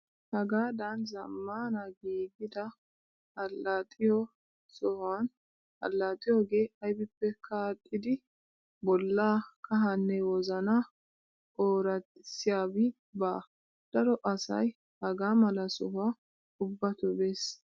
Hagaadan zammaana giigida allaxxiyoo sohuwaan allaaxxiyoogee ayibippekka aadhdhidi bollaa, kahaanne wozanaa ooraxissiyaabi baa. Daro asayi hagaa mala sohuwaa ubbatoo bes.